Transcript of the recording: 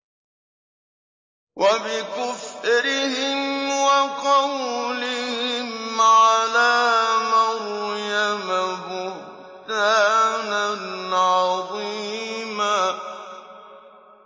وَبِكُفْرِهِمْ وَقَوْلِهِمْ عَلَىٰ مَرْيَمَ بُهْتَانًا عَظِيمًا